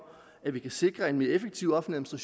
at vi kan sikre en mere effektiv offentlig